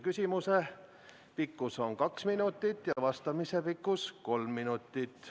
Küsimuse pikkus on kaks minutit ja vastuse pikkus kolm minutit.